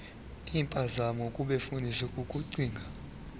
impazamo kubefundisi kukucinga